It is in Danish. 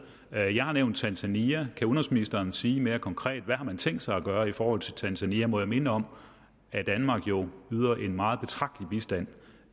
og jeg har nævnt tanzania kan udenrigsministeren sige mere konkret hvad man har tænkt sig at gøre i forhold til tanzania må jeg minde om at danmark jo yder en meget betragtelig bistand